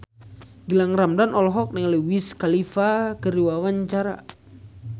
Gilang Ramadan olohok ningali Wiz Khalifa keur diwawancara